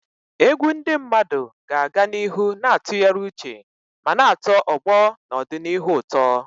Egwu ndị mmadụ ga-aga n'ihu na-atụgharị uche ma na-atọ ọgbọ n'ọdịnihu ụtọ.